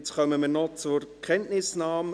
Jetzt kommen wir noch zur Kenntnisnahme.